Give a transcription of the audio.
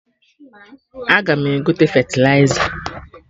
Aga m egote fetịliza